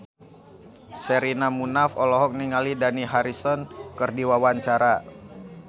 Sherina Munaf olohok ningali Dani Harrison keur diwawancara